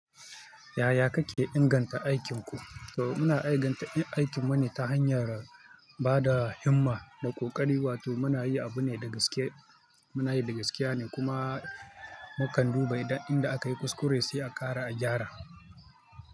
Yaya kake inganta aikinku? To muna inganta aikinmu ne ta hanyar ba da himma da ƙoƙari, wato muna yi abu ne da gaske, muna yi da gaskiya ne kuma mukan duba inda aka yi kuskure sai a gyara.